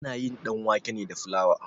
Ana yin ɗanwake ne da flawa.